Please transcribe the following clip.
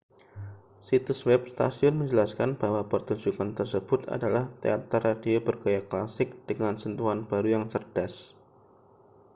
situs web stasiun menjelaskan bahwa pertunjukkan tersebut adalah teater radio bergaya klasik dengan sentuhan baru yang cerdas